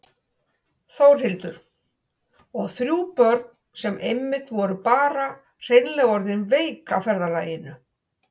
Þórhildur: Og þrjú börn sem einmitt voru bara hreinlega orðin veik af ferðalaginu?